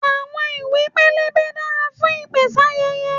Àwọn ìwé pélébé dára fún ìpèsáyẹyẹ.